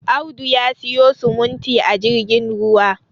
Audu ya siyo simuti a jirgin ruwa